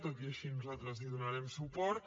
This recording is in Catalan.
tot i així nosaltres hi donarem suport